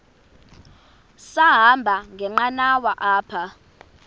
sahamba ngenqanawa apha